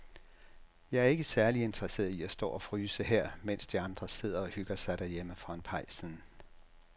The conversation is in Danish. Jeg er ikke særlig interesseret i at stå og fryse her, mens de andre sidder og hygger sig derhjemme foran pejsen.